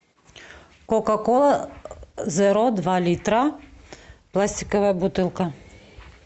кока кола зеро два литра пластиковая бутылка